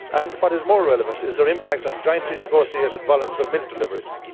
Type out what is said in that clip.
What is more relevant is their impact on jointly negotiated volumes of milk deliveries.